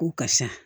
Ko karisa